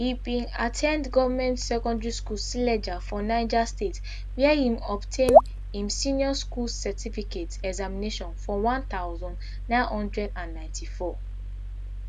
e bin at ten d government secondary school suleja for niger state wia e obtain im senior school certificate examination for one thousand, nine hundred and ninety-four